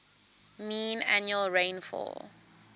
mean annual rainfall